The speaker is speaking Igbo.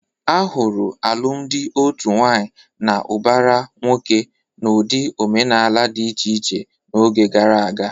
A hụrụ alụmalụ otu nwaanyị na ụbara nwoke n'ụdị omenala dị iche iche n'oge gara aga.